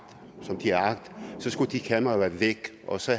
som de har agt skulle de kameraer have været væk og så